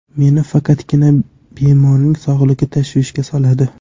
Meni faqatgina bemorning sog‘ligi tashvishga soladi.